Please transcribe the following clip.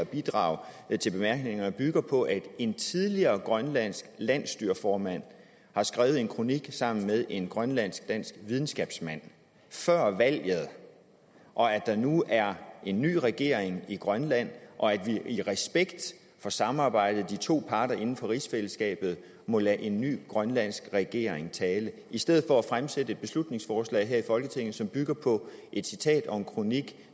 bidrag til bemærkningerne bygger på at en tidligere grønlandsk landsstyreformand har skrevet en kronik sammen med en grønlandsk dansk videnskabsmand før valget og at der nu er en ny regering i grønland og at vi i respekt for samarbejdet imellem de to parter inden for rigsfællesskabet må lade en ny grønlandsk regering tale i stedet for at fremsætte et beslutningsforslag her i folketinget som bygger på et citat og en kronik